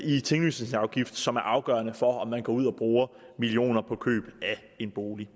i tinglysningsafgift som er afgørende for om man går ud og bruger millioner på køb af en bolig